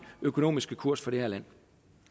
økonomiske kurs for det